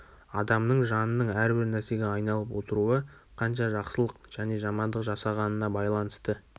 адам жанының әрбір нәрсеге айналып отыруы қанша жақсылық және жамандық жасағанына байланысты